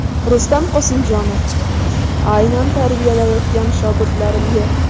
Rustam Qosimjonov: Aynan tarbiyalayotgan shogirdlarim yo‘q.